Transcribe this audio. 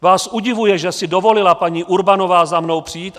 Vás udivuje, že si dovolila paní Urbanová za mnou přijít?